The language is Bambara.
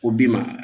O bi ma